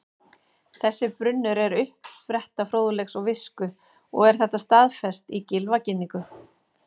Þessi brunnur er uppspretta fróðleiks og visku og er þetta staðfest í Gylfaginningu: